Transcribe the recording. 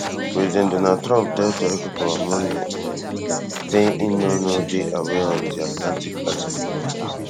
president donald trump tell tori pipo on monday um say im no no dey aware of di atlantic article um